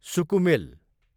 सुकुमेल